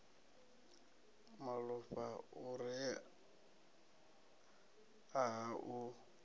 malofha u re nha u